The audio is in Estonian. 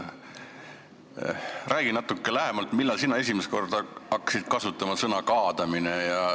Räägi natuke lähemalt, millal sina esimest korda hakkasid kasutama sõna "kaadamine".